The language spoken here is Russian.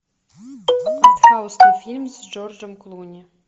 артхаусный фильм с джорджом клуни